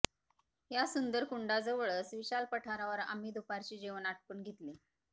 या सुंदर कुंडाजवळच विशाल पठारावर आम्ही दुपारचे जेवण आटपून घेतले